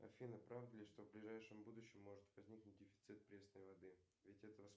афина правда ли что в ближайшем будущем может возникнуть дефицит пресной воды ведь это